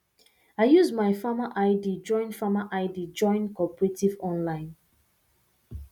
i use my farmer id join farmer id join cooperative online